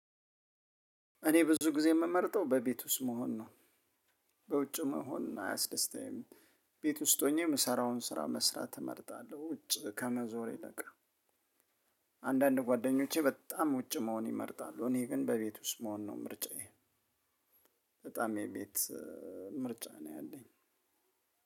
እኔ ብዙ ጊዜ የምመርጠው በቤት ውስጥ መሆን ነው በውጭ መሆን አያስደስታይም። ቤት ውስጥ ሆኜ የምሰራውን ስራ መስራት እመርጣለሁ ውጭ ከመዞር ይልቅ። አንዳንድ ጓደኞቼ በጣም ውጪ መሆን ይመርጣሉ እኔ ግን በቤት ውስጥ መሆን ነው ምርጫዬ። በጣም የቤት ምርጫ ነው ያለኝ።